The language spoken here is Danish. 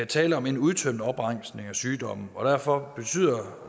tale om en udtømmende opremsning af sygdomme og derfor betyder